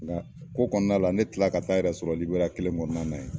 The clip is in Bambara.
Nka ko kɔnɔna la ne kila la ka taa n yɛrɛ sɔrɔ Liberiya kelen kɔnɔna na yen.